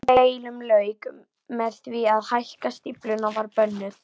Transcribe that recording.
Þessum deilum lauk með því að hækkun stíflunnar var bönnuð.